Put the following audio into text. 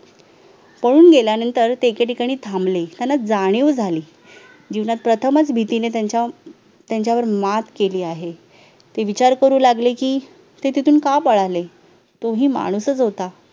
पळून गेल्यानंतर ते एके ठिकाणी थांबले त्यांना जाणीव झाली जीवनात प्रथमच भीतीने त्यांच्या त्यांच्यावर मात केली आहे ते विचार करू लागले की ते तिथून का पळाले तो ही माणूसच होता